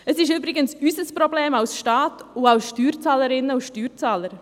Es ist übrigens unser Problem als Staat und als Steuerzahlerinnen und Steuerzahler.